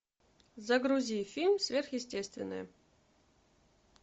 загрузи фильм сверхъестественное